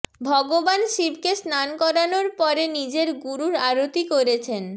ভগবান শিবকে স্নান করানোর পরে নিজের গুরুর আরতি করেছেন